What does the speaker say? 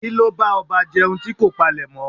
Kíló bá ọba jẹun tí kò palèmọ́?